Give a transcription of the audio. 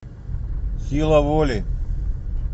сила воли